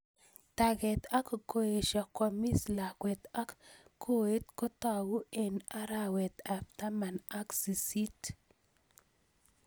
Taget, ak koesho kwamis lakwet ak koet kotag'u eng' arawet ab taman ak sisit